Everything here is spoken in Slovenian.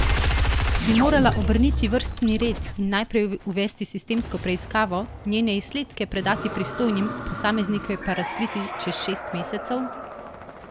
Bi morala obrniti vrstni red in najprej uvesti sistemsko preiskavo, njene izsledke predati pristojnim, posameznike pa razkriti čez šest mesecev?